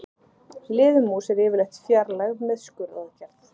Liðmús er yfirleitt fjarlægð með skurðaðgerð.